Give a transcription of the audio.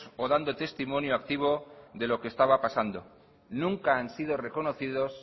o dando testimonio activo de lo que estaba pasando nunca han sido reconocidos